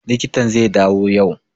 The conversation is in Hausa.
Likitan zai dawo yau